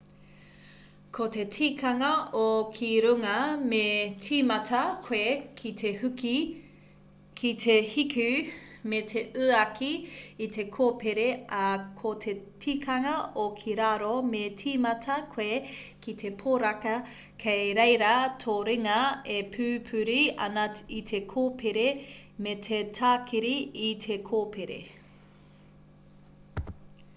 ko te tikanga o ki runga me tīmata koe ki te hiku me te uaki i te kōpere ā ko te tikanga o ki raro me tīmata koe ki te poraka kei reira tō ringa e pupuri ana i te kōpere me te tākiri i te kōpere